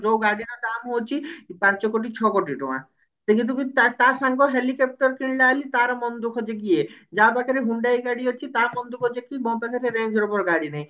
ଯଉ ଗାଡି ର ଦାମ୍ ହଉଛି ପାଞ୍ଚ କୋଟି ଛଅ କୋଟି ଟଙ୍କା ତା ତା ସାଙ୍ଗ helicopter କିଣିଲା ବୋଲି ତାର ମନ ଦୁଖ ଯେ କି ଇଏ ଯା ପାଖରେ hyundai ଗାଡି ଅଛି ତା ମନ ଦୁଖ ଯେ କି ମୋ ପାଖରେ range rover ଗାଡି ନାହିଁ